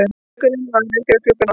Gaukurinn var vekjaraklukkan okkar.